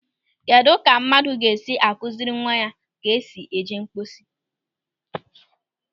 Kedụ ka mmadụ ga-esi akụziri nwa ke esi eje mposi?